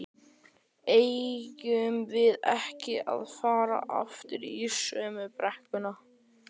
eigum við ekki að fara aftur í sömu brekkuna?